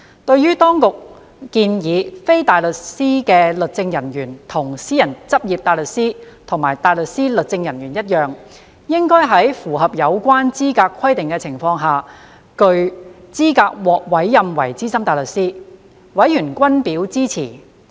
對於政府當局建議，非大律師律政人員跟私人執業大律師及大律師律政人員一樣，應在符合有關資格規定的情況下具資格獲委任為資深大律師，委員均表支持。